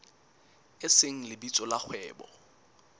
e seng lebitso la kgwebo